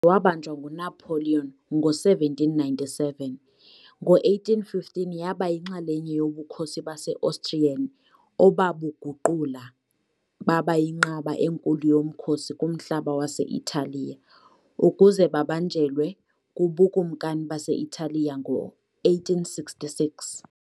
Wabanjwa nguNapoleon ngo-1797, ngo-1815 yaba yinxalenye yoBukhosi base-Austrian obabuguqula baba yinqaba enkulu yomkhosi kumhlaba wase-Italiya, ukuze babanjelwe kuBukumkani base-Italiya ngo-1866.